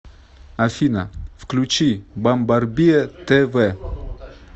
афина включи бамбарбиа тэ вэ